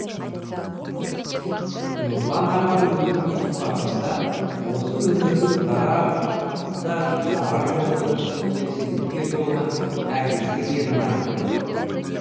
нұрлан аға өзінің сұхбатында осы өнердің дара да сара жолына түсуіне себепкер болған әкесі екенін айтты